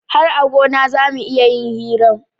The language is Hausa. Har a gona zamu iya yin hiran